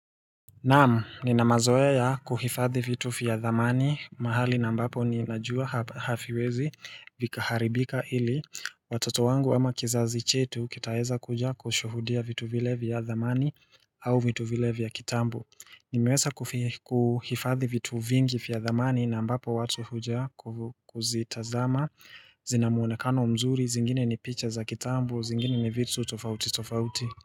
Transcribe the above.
Naamu, ninamazoe ya kuhifadhi vitu vya dhamani mahali na mbapo ninajua haviwezi vikaharibika ili Watoto wangu ama kizazi chetu kitaweza kuja kushuhudia vitu vile vya dhamani au vitu vile vya kitambo Nimeweza kuhifadhi vitu vingi vya dhamani na mbapo watu huja kuzitazama Zinamwonekano mzuri, zingine ni picha za kitambu, zingine ni vitu tofauti tofauti.